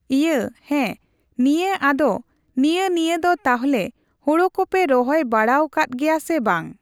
ᱤᱭᱟᱹ ᱦᱮᱸ ᱱᱤᱭᱟᱹ ᱟᱫᱚ ᱱᱤᱭᱟᱹ ᱱᱤᱭᱟᱹ ᱫᱚ ᱛᱟᱦᱞᱮ ᱦᱳᱲᱳ ᱠᱚᱯᱮ ᱨᱚᱦᱚᱭ ᱵᱟᱲᱟᱣ ᱠᱟᱫ ᱜᱮᱭᱟ ᱥᱮ ᱵᱟᱝ ?